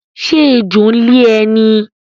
Ṣé ẹjọ́ ń lé ẹ ní?